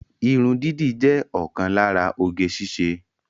Irun dídì jẹ́ ọ̀kan lára oge síṣe